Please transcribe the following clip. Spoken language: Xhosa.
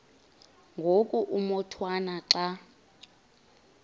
ngoku umotwana xa